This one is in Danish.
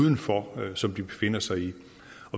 udenfor som de befinder sig i